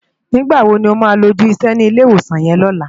Nigbá wó ló má wá lójù isè ni Ilé Iwósán yèn lòlá?